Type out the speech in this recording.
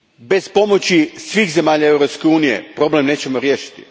Bez pomoći svih zemalja Europske unije, problem nećemo riješiti.